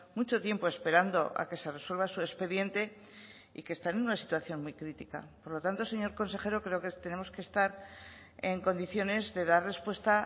mucho tiempo esperando a que se resuelva su expediente y que están en una situación muy crítica por lo tanto señor consejero creo que tenemos que estar en condiciones de dar respuesta